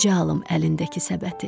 Necə alım əlindəki səbəti?